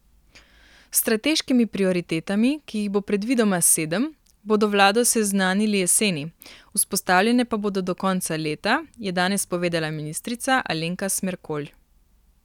S strateškimi prioritetami, ki jih bo predvidoma sedem, bodo vlado seznanili jeseni, vzpostavljene pa bodo do konca leta, je danes povedala ministrica Alenka Smerkolj.